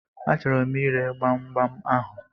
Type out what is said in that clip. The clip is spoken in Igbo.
A chọrọ m ire gbamgbam ahụ.